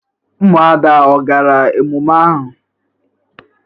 Umuada o gara emume a?